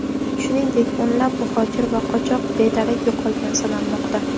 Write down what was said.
Shuningdek, o‘nlab muhojir va qochoq bedarak yo‘qolgan sanalmoqda.